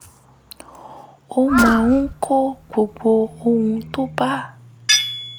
ó máa ń kọ gbogbo ohun tó bá